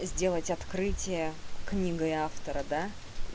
сделать открытие книгой автора да